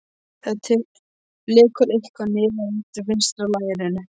Það lekur eitthvað niður eftir vinstra lærinu.